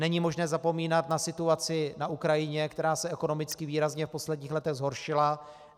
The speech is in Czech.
Není možné zapomínat na situaci na Ukrajině, která se ekonomicky výrazně v posledních letech zhoršila.